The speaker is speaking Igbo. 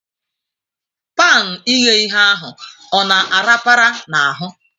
Pan ighe ihe ahụ ọ na arapara n'ahụ?